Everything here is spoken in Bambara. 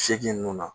Seegin ninnu na